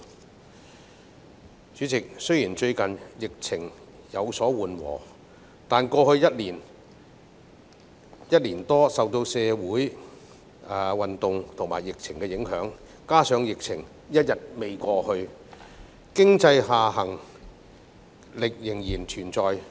代理主席，雖然最近疫情有所緩和，但過去一年多受到社會運動及疫情影響，加上疫情尚未過去，經濟下行壓力仍然存在。